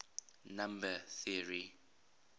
number theory